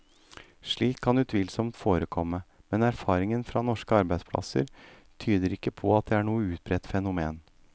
Slikt kan utvilsomt forekomme, men erfaringen fra norske arbeidsplasser tyder ikke på at det er noe utbredt fenomen.